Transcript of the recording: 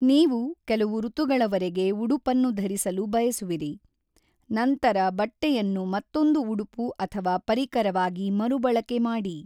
ನೀವು ಕೆಲವು ಋತುಗಳವರೆಗೆ ಉಡುಪನ್ನು ಧರಿಸಲು ಬಯಸುವಿರಿ, ನಂತರ ಬಟ್ಟೆಯನ್ನು ಮತ್ತೊಂದು ಉಡುಪು ಅಥವಾ ಪರಿಕರವಾಗಿ ಮರುಬಳಕೆ ಮಾಡಿ.